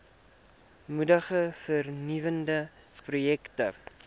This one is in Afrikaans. moedig vernuwende projekte